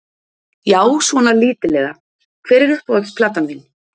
Já, svona lítillega Hver er uppáhalds platan þín?